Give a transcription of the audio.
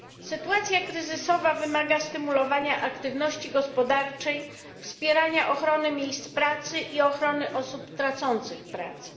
Sytuacja kryzysowa wymaga stymulowania aktywności gospodarczej, wspierania ochrony miejsc pracy i ochrony osób tracących pracę.